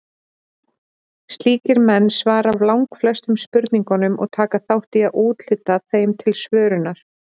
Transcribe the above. Slíkir menn svara langflestum spurningunum og taka þátt í að úthluta þeim til svörunar.